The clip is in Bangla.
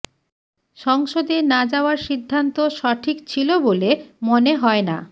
সংসদে না যাওয়ার সিদ্ধান্ত সঠিক ছিল বলে মনে হয় না